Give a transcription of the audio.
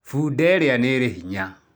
Bunda iria nĩ irĩ hinya.